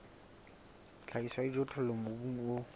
tlhahiso ya dijothollo mobung o